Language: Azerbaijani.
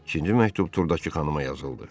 İkinci məktub Turdakı xanıma yazıldı.